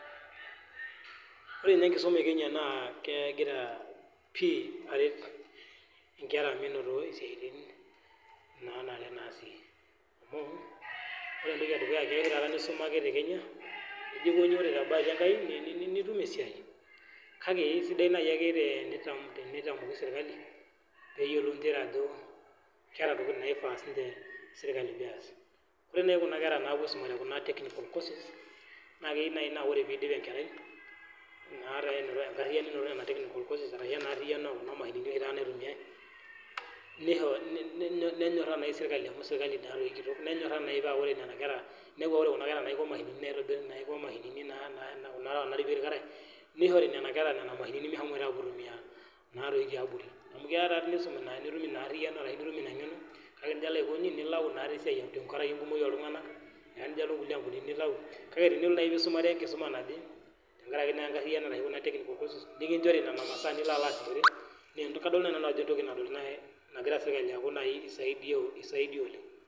Ore naa enkisuma ee Kenya naa kegira pii aret enkera menoto siatin nanare natii amuu ore entoki edukuya taata enkisuma te Kenya nijo aikoji tee bahati enkai nitum esiai kake kisidai naaji enitamoki sirkali pee eyiolou njere Ajo keeta ntokitin naifaa sirkali pee eas ore najii enkera napuo aisuma te Kuna technical courses naa keyieu naaji naa ore pee edip enkerai naa ena erayiono ee technical courses enaa ena ariyiono ekuna mashinini oshi taata naitumiai nenyoraa naaji sirkali paa ore Nena kera nepuo ore Kuna naiko mashinini Kuna natipikie irkarash nishori Nena kera Nena mashini meshomo aitumia tiabori amu keeya nisuma nitum ena Ariano ashu ena ng'eno kake elo aikoji nilawu esiai tenkaraki enkumoki oltung'ani ejo alo nkulie ambunini nilau kake tee nisumare naaji enkae kisuma naje tenkaraki naa enkariano natii Kuna technical courses nikinjori Nena mashinini masaa nilo asishore kadolita Ajo entoki naaku sirkali esaidia oleng